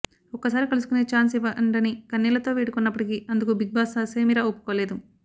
ఒక్కసారి కలుసుకునే చాన్స్ ఇవ్వండని కన్నీళ్లతో వేడుకున్నప్పటికీ అందుకు బిగ్బాస్ ససేమీరా ఒప్పుకోలేదు